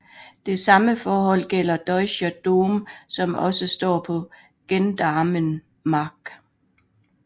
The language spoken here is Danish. Det samme forhold gælder Deutscher Dom som også står på Gendarmenmarkt